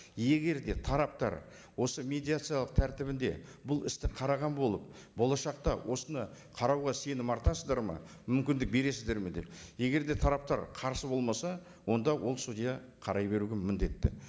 егер де тараптар осы медиациялық тәртібінде бұл істі қараған болып болашақта осыны қарауға сенім артасыздар ма мүмкіндік бересіздер ме деп егер де тараптар қарсы болмаса онда ол судья қарай беруге міндетті